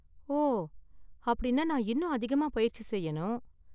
ஓ, அப்படின்னா நான் இன்னும் அதிகமா பயிற்சி செய்யணும்.